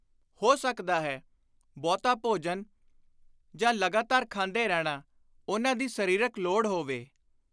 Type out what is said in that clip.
ਹੋ ਸਕਦਾ ਹੈ ‘ਬਹੁਤਾ ਭੋਜਨ’ ਜਾਂ ‘ਲਗਾਤਾਰ ਖਾਂਦੇ ਰਹਿਣਾ’ ਉਨ੍ਹਾਂ ਦੀ ਸਰੀਰਕ ਲੋੜ ਹੋਵੇ।